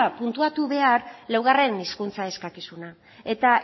puntuatu behar laugarren hizkuntza eskakizuna eta